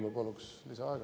Ma palun lisaaega.